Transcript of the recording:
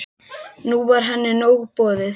Nú var henni nóg boðið.